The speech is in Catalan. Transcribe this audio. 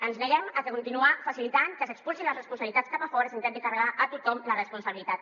ens neguem a continuar facilitant que s’expulsin les responsabilitats cap a fora s’intenti carregar a tothom la responsabilitat